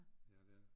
Ja det er det